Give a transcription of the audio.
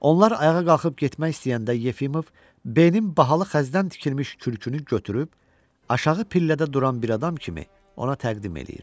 Onlar ayağa qalxıb getmək istəyəndə Yefimov B-nin bahalı xəzdən tikilmiş kürkünü götürüb aşağı pillədə duran bir adam kimi ona təqdim eləyir.